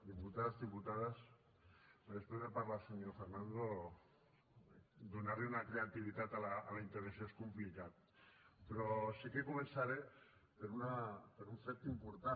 diputats diputades després de parlar el senyor fernando donar li una creativitat a la intervenció és complicat però sí que començaré per un fet important